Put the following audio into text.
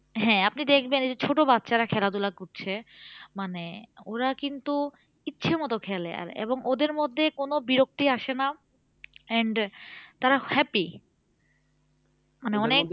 হ্যাঁ আপনি দেখবেন এই যে ছোট বাচ্ছার খেলাধুলা করছে মানে ওরা কিন্তু ইচ্ছে মতো খেলে আর এবং ওদের মধ্যে কোন বিরক্তি আসে না and তারা happy মানে অনেক